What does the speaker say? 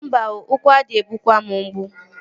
Mba oo, ụkwụ ade egbukwa m mgbu